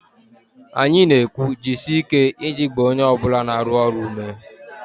Anyị na-ekwu 'jisie ike' iji gbaa onye ọ bụla na-arụ ọrụ ume